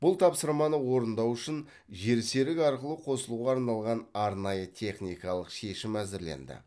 бұл тапсырманы орындау үшін жерсерік арқылы қосылуға арналған арнайы техникалық шешім әзірленді